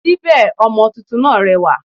Síbí ọmọ tuntun náà rẹwà